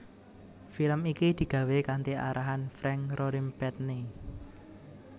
Film iki digawé kanthi arahann Frank Rorimpandey